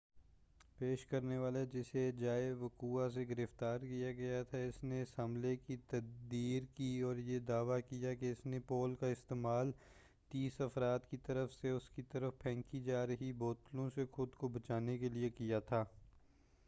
پیش کرنے والا جسے جائے وقوعہ سے گرفتار کیا گیا تھا اس نے اس حملے کی تردید کی اور یہ دعوی کیا کہ اس نے پول کا استعمال تیس افراد کی طرف سے اس کی طرف پھینکی جا رہی بوتلوں سے خود کو بچانے کے لئے کیا تھا